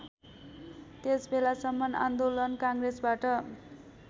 त्यसबेलासम्म आन्दोलन काङ्ग्रेसबाट